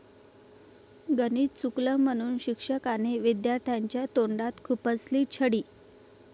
गणित चुकलं म्हणून शिक्षकाने विद्यार्थ्याच्या तोंडात खुपसली छडी